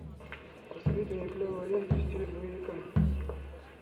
посоветуй мне клевую ленту в стиле боевика